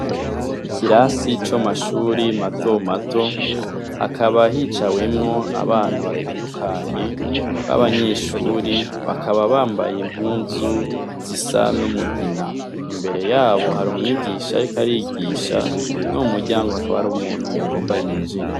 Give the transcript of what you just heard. Ikirasi c'amashure matomato, hakaba hicawemwo abana batandukanye b'abanyeshure, bakaba bambaye impuzu zisa n'umugina. Imbere yabo hari umwigisha ariko arigisha, no mu muryango hakaba hari umuntu yagomba yinjire.